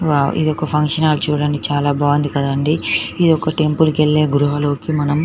wow ఇదొక function hall చుడండి చాలా బాగుంది కదా అండి ఇది ఒక టెంపుల్ కెళ్లే గృహ లోకి మనం--